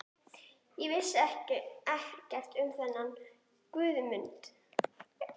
Ég vissi ekkert um þennan Guðmund